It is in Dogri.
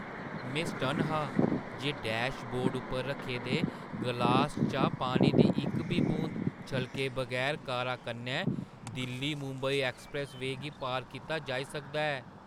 में सटन्न हा जे डैशबोर्ड उप्पर रक्खे दे ग्लास चा पानी दी इक बी बूंद छलके बगैर कारा कन्नै दिल्ली-मुंबई ऐक्सप्रैस्स-वेऽ गी पार कीता जाई सकदा हा।